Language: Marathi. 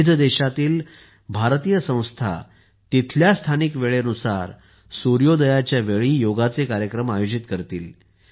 विविध देशांतील भारतीय संस्था तेथील स्थानिक वेळेनुसार सूर्योदयाच्या वेळी योगाचे कार्यक्रम आयोजित करतील